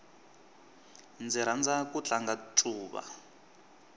ndzi rhandza ku tlanga ncuva